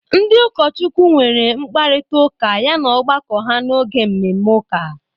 Ndị ụkọchukwu nwere mkparịta ụka yana ọgbakọ ha n'oge mmemme ụka.